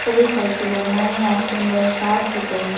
सभी साइकिलें नई और सुन्दर साफ सुथरी हैं।